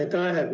Aitäh!